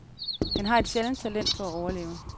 Han har et sjældent talent for at overleve.